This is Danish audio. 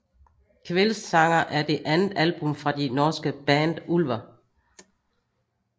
Kveldssanger er det andet album fra det norske band Ulver